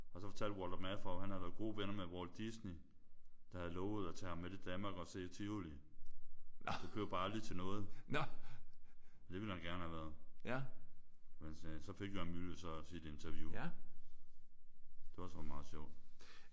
Og så fortalte Walter Matthau at han havde været gode venner med Walt Disney der havde lovet at tage ham med til Danmark og se Tivoli. Det blev bare aldrig til noget. Det ville han gerne have været. Men så fik Jørgen de Mylius så sit interview. Det var så meget sjovt